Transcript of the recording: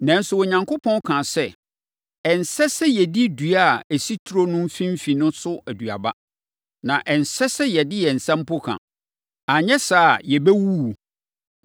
nanso Onyankopɔn kaa sɛ, ‘Ɛnsɛ sɛ yɛdi dua a ɛsi turo no mfimfini no so aduaba, na ɛnsɛ sɛ yɛde yɛn nsa mpo ka, anyɛ saa a, yɛbɛwuwu.’ ”